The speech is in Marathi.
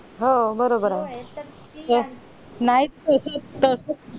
हो बोरोबर ये